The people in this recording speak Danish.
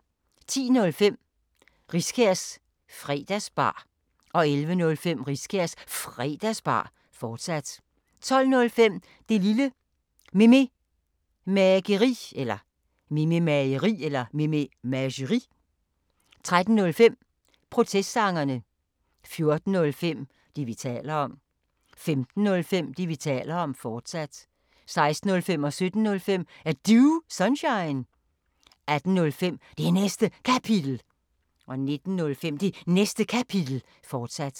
10:05: Riskærs Fredagsbar 11:05: Riskærs Fredagsbar, fortsat 12:05: Det Lille Mememageri 13:05: Protestsangerne 14:05: Det, vi taler om 15:05: Det, vi taler om, fortsat 16:05: Er Du Sunshine? 17:05: Er Du Sunshine? 18:05: Det Næste Kapitel 19:05: Det Næste Kapitel, fortsat